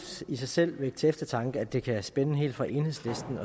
i sig selv vække til eftertanke at det kan spænde helt fra enhedslisten